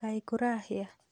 Kaĩ kũrahĩa?